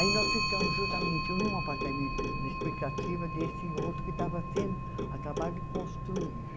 Aí nós ficamos justamente num apartamento, na expectativa desse outro que estava sendo acabado de construir.